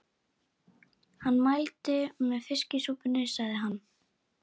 Hann mælti með fiskisúpunni, sagði hann.